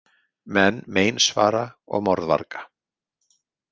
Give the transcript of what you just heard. Menn meinsvara og morðvarga.